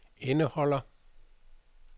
indeholder